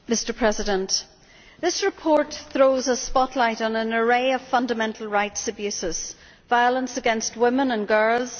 Mr President, this report throws a spotlight on an array of fundamental rights abuses violence against women and girls